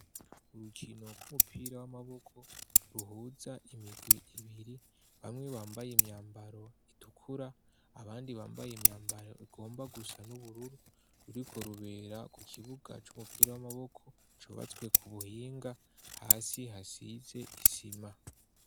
Urukino rw'umupira w'amaboko ruhuza imigwi ibiri, bamwe bambaye imyambaro itukura abandi bambaye imyambaro igomba gusa n'ubururu, ruriko rubera ku kibuga c'umupira w'amaboko cubatswe ku buhinga, hasi hasize isima.